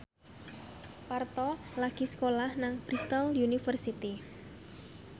Parto lagi sekolah nang Bristol university